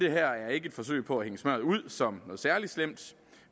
er ikke et forsøg på at hænge smør ud som noget særlig slemt